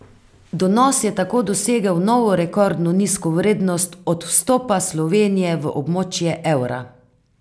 Donos je tako dosegel novo rekordno nizko vrednost od vstopa Slovenije v območje evra.